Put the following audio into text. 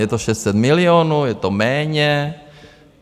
Je to 600 milionů, je to méně?